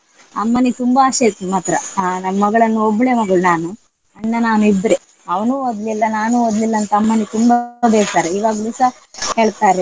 ಅಮ್ಮನಿಗೆ ತುಂಬಾ ಆಶೆ ಇತ್ತು ಮಾತ್ರ ಆಹ್ ನನ್ ಮಗಳನ್ನು ಒಬ್ಳೆ ಮಗಳು ನಾನು ಅಣ್ಣ ನಾನು ಇಬ್ರೇ. ಅವನು ಒದ್ಲಿಲ್ಲ ನಾನೂ ಒದ್ಲಿಲ್ಲ ಅಂತ ಅಮ್ಮನಿಗೆ ತುಂಬಾ ಬೇಸರ ಇವಾಗ್ಲೂಸ ಹೇಳ್ತಾರೆ.